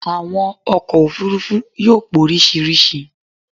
Àwọn ọkọ̀ òfurufú yóò póríṣiríṣi